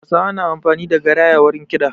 Hausawa na amfani da garaya wajen kiɗa